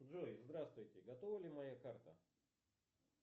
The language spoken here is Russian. джой здравствуйте готова ли моя карта